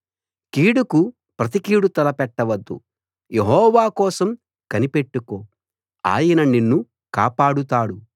కీడుకు ప్రతికీడు తలపెట్టవద్దు యెహోవా కోసం కనిపెట్టుకో ఆయన నిన్ను కాపాడుతాడు